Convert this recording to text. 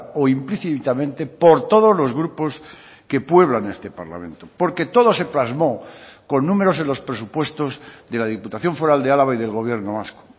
o implícitamente por todos los grupos que pueblan este parlamento porque todo se plasmó con números en los presupuestos de la diputación foral de álava y del gobierno vasco